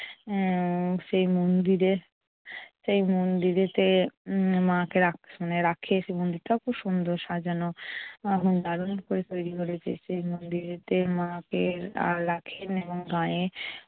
আহ সেই মন্দিরে সেই উম মন্দিরেতে উম মাকে রাখ~ রাখে আসনে মানে রেখে আসে মন্দিরটাতে। মন্দিরটাও খুব সাজানো, এবং দারুন করে তৈরি করেছে। সে মন্দিরেতে মাকে রাখেন এবং মায়ের